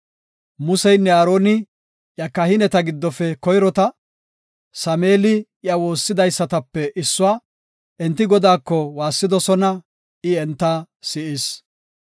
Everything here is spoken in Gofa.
Museynne Aaroni iya kahineta giddofe koyrota; Sameeli iya woossidaysatape issuwa. Enti Godaako waassidosona; I enta si7is.